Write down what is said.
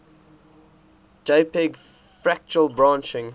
jpg fractal branching